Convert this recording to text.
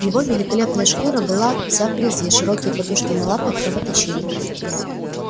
его великолепная шкура была вся в грязи широкие подушки на лапах кровоточили